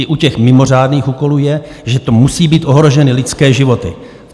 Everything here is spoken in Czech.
I u těch mimořádných úkolů je, že tu musí být ohroženy lidské životy.